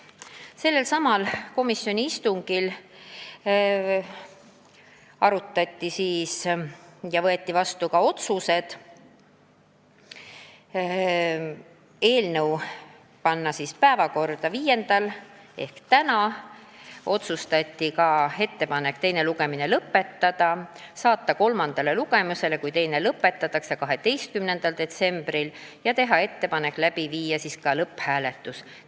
Sellelsamal komisjoni istungil võeti vastu ka järgmised otsused: võtta eelnõu päevakorda 5. detsembriks ehk tänaseks, teha ettepanek teine lugemine lõpetada, saata eelnõu kolmandale lugemisele, kui teine lõpetatakse, 12. detsembriks ja panna see lõpphääletusele.